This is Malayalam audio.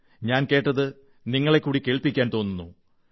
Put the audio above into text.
ഞാൻ കേട്ടത് നിങ്ങളെക്കൂടി കേൾപ്പിക്കാൻ തോന്നുന്നു